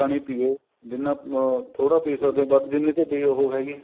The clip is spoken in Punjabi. ਪਾਣੀ ਪਿਉ ਜਿੰਨਾ ਅਹ ਥੋੜਾ ਪੀ ਸਕਦੇ ਓ ਜਿੰਨੀ ਤੁਹਾਡੀ ਉਹ ਹੈਗੀ